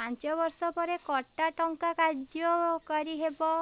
ପାଞ୍ଚ ବର୍ଷ ପରେ କଟା ଟଙ୍କା କାର୍ଯ୍ୟ କାରି ହେବ